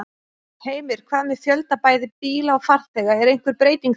Heimir: Hvað með fjölda bæði bíla og farþega, er einhver breyting þar?